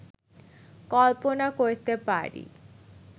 কল্পনা করতে পারি